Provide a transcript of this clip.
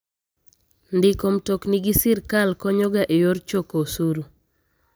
Ndiko mtokni gi sirkal konyo ga e yor choko osuru.